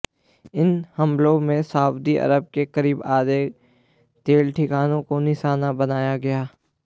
इन हमलों में Saudi Arab के करीब आधे तेल ठिकानों को निशाना बनाया गया